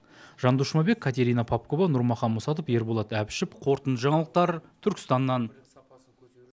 жандос жұмабек катерина попкова нұрмахан мұсатов ерболат әбішов қорытынды жаңалықтар түркістаннан